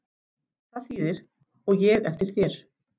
Það þýðir: og ég eftir þér.